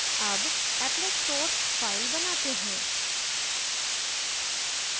अब applet source file बनाते हैं